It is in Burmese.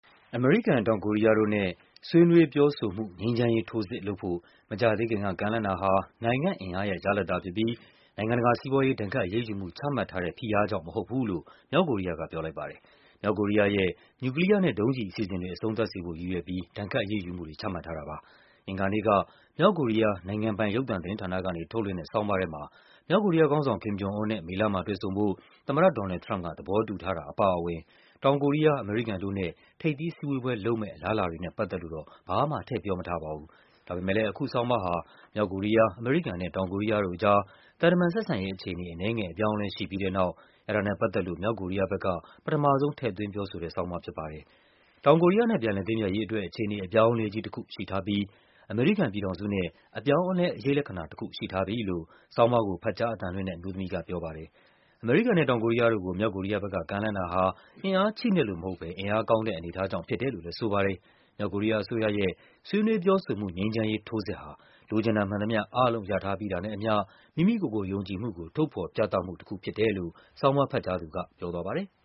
အမေရိကန်၊ တောင်ကိုရီးယားတို့နဲ့ “ဆွေးနွေးပြောဆိုမှု ငြိမ်းချမ်းရေးထိုးစစ်” လုပ်ဖို့ မကြာသေးခင်က ကမ်းလှမ်းတာဟာ နိုင်ငံ့ အင်အားရဲ့ ရလဒ်သာဖြစ်ပြီး နိုင်ငံတကာ စီးပွားရေး ဒဏ်ခတ်အရေးယူမှု ချမှတ်ထားတဲ့ ဖိအားကြောင့် မဟုတ်ဘူးလို့ မြောက် ကိုရီးယားက ပြောလိုက်ပါတယ်။ မြောက်ကိုရီးယားရဲ့ နျူကလီးယားနဲ့ ဒုံးကျည်အစီအစဉ်တွေ အဆုံးသတ်စေဖို့ရည်ရွယ်ပြီး ဒဏ်ခတ်အရေးယူမှုတွေ ချမှတ်ထားတာပါ။ အင်္ဂါနေ့က မြောက်ကိုရီးယား နိုင်ငံပိုင်ရုပ်သံသတင်းဌာနကနေ ထုတ်လွှင့်တဲ့ ဆောင်းပါးထဲမှာ မြောက်ကိုရီးယားခေါင်းဆောင် Kim Jong-Un နဲ့ မေလမှာတွေ့ဆုံဖို့ သမ္မတ ဒေါ်နယ်လ်ဒ် ထရမ့်ပ်က သဘောတူထားတာအပါအဝင် တောင်ကိုရီးယား၊ အမေရိကန်တို့နဲ့ ထိပ်သီးစည်းဝေးပွဲ လုပ်မယ့်အလားအလာတွေနဲ့ပတ်သက်ပြီး ဘာမှ ထည့်ပြောမထားပါဘူး။ ဒါပေမဲ့လည်း အခုဆောင်းပါးဟာ မြောက်ကိုရီးယား၊ အမေရိကန်နဲ့ တောင်ကိုရီးယားတို့အကြား သံတမန်ဆက်ဆံရေး အခြေ အနေ အနည်းငယ်အပြောင်းအလဲ ရှိပြီးတဲ့နောက် အဲဒါနဲ့ပတ်သက်လို့ ပထမဆုံး ထည့်သွင်းပြောဆိုထားတဲ့ဆောင်းပါးဖြစ်ပါတယ်။ “တောင်ကိုရီးယားနဲ့ ပြန်လည်သင့်မြတ်ရေးအတွက် အခြေအနေအပြောင်းအလဲကြီးတခု” ရှိထားပြီး အမေရိကန်ပြည်ထောင်စုနဲ့ “အပြောင်းအလဲ အရိပ်လက္ခဏာတခု” ရှိထားပြီလို့ ဆောင်းပါးကို ဖတ်ကြားအသံလွှင့်တဲ့ အမျိုးသမီးက ပြောပါတယ်။ အမေရိကန်နဲ့ တောင်ကိုရီးယားတို့ကို မြောက်ကိုရီးယားဘက်က ကမ်းလှမ်းတာဟာ အင်အားချိနဲ့လို့မဟုတ်ဘဲ အင်အားကောင်း တဲ့ အနေအထားကြောင့်ဖြစ်တယ်လို့လည်း ဆိုပါတယ်။ မြောက်ကိုရီးယားအစိုးရရဲ့ “ဆွေးနွေးပြောဆိုမှု ငြိမ်းချမ်းရေးထိုးစစ်” ဟာ “လိုချင်တာမှန်သမျှ အားလုံးရထားပြီးတာနဲ့အမျှ မိမိ ကိုယ်ကို ယုံကြည်မှုုကို ထုတ်ဖော်ပြသမှုတခုဖြစ်တယ်” လို့ ဆောင်းပါးဖတ်ကြားသူက ပြောသွားပါတယ်။